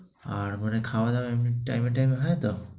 আর মানে খাওয়া-দাওয়া এমনি time এ time এ হয় তো?